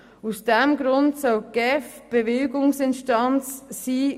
Aus diesem Grund soll die GEF Bewilligungsinstanz sein.